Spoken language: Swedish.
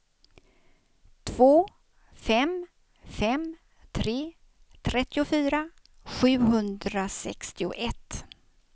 två fem fem tre trettiofyra sjuhundrasextioett